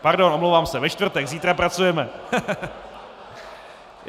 Pardon, omlouvám se, ve čtvrtek, zítra pracujeme.